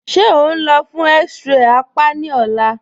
Ṣe o nlọ́ fun x-ray àpá ni ọ̀là?